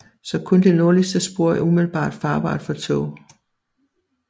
Så kun det nordligste spor er umiddelbart farbart for tog